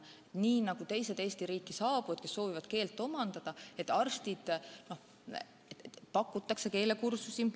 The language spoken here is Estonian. Nii nagu teistele Eesti riiki saabujatele, kes soovivad keelt omandada, pakutakse ka arstidele keelekursusi.